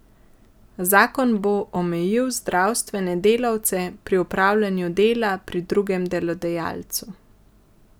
Zakon bo omejil zdravstvene delavce pri opravljanju dela pri drugem delodajalcu.